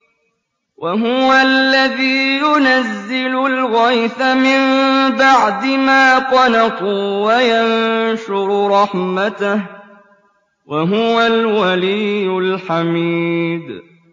وَهُوَ الَّذِي يُنَزِّلُ الْغَيْثَ مِن بَعْدِ مَا قَنَطُوا وَيَنشُرُ رَحْمَتَهُ ۚ وَهُوَ الْوَلِيُّ الْحَمِيدُ